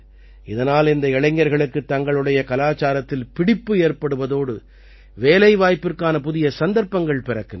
இதனால் இந்த இளைஞர்களுக்குத் தங்களுடைய கலாச்சாரத்தில் பிடிப்பு ஏற்படுவதோடு வேலைவாய்பிற்கான புதிய சந்தர்ப்பங்கள் பிறக்கின்றன